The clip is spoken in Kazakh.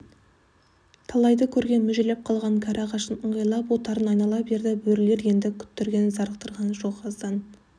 талайды көрген мүжіліп қалған кәрі ағашын ыңғайлап отарын айнала берді бөрілер енді күттірген зарықтырған жоқ аздан